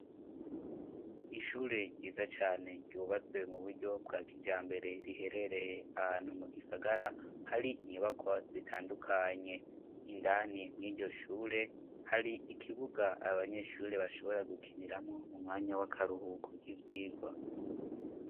Ishure ryiza cane ryubatswe muburyo bwa kijambere, riherereye ahantu mugisagara hari inyubakwa zitandukanye ,indani mw'iryo shure ,hari ikibuga aba nyeshure bashobora gukiniramwo ,m'umwanya w'akaruhuko k'ivyirwa.